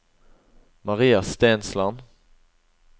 Maria Stensland